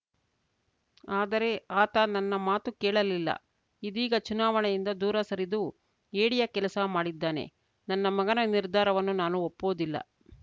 ಆದರೆ ಆತ ನನ್ನ ಮಾತು ಕೇಳಲಿಲ್ಲ ಇದೀಗ ಚುನಾವಣೆಯಿಂದ ದೂರ ಸರಿದು ಹೇಡಿಯ ಕೆಲಸ ಮಾಡಿದ್ದಾನೆ ನನ್ನ ಮಗನ ನಿರ್ಧಾರವನ್ನು ನಾನು ಒಪ್ಪುವುದಿಲ್ಲ